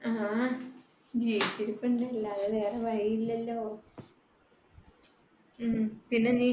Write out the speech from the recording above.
ങ്ഹാ ജീവിച്ചിരിപ്പുണ്ട്. അല്ലാതെ വേറെ വഴിയില്ലലോ. ങ്‌ഹും. പിന്നെ നീ